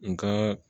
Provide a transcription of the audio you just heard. N ka